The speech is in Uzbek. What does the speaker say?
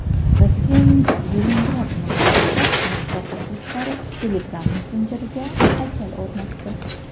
Rossiyaning Leningrad viloyatida maktab o‘quvchilari Telegram messenjeriga haykal o‘rnatdi.